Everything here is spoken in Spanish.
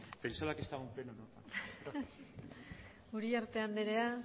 perdón pensaba que estaba en pleno uriarte andrea